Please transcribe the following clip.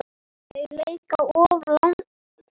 Þeir leika oft langar sóknir.